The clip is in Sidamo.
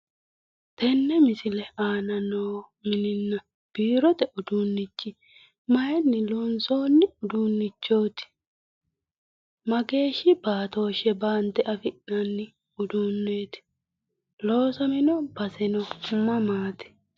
Tini misile aana noo mininna biirote uduunnichi maayiinni loonsoonni uduunnichooti? mageeshshi baatooshshe baante afi'nanni uduunneeti loosamino baseno mamaati?